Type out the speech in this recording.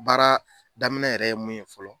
Baara daminɛ yɛrɛ ye mun ye fɔlɔ